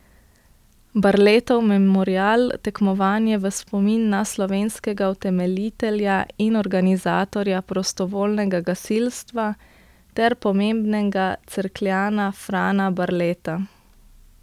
Barletov memorial, tekmovanje v spomin na slovenskega utemeljitelja in organizatorja prostovoljnega gasilstva ter pomembnega Cerkljana Frana Barleta.